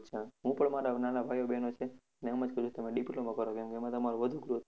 અને હજુ તમારા નાના ભાઈઓ બહેનો છે, એને એમ જ કહેજો કે તમારે diploma કરવાનું એમાં તમારો વધુ growth છે.